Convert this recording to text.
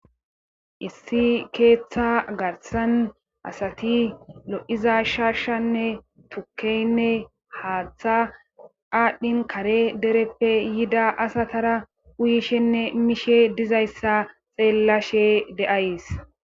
issi keeththa garsan asati lo7iza shaashanne tukkeynne haaththa aadhdhin kare dereppe yida asatara uyishenne miishe dizayssa xeellashe de7ays